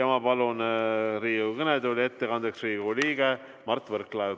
Ma palun Riigikogu kõnetooli ettekandeks Riigikogu liikme Mart Võrklaeva.